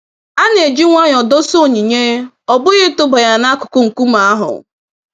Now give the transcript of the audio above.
A na-eji nwayọ dosa onyinye, ọ bụghị ịtụba ya nakụkụ nkume ahụ.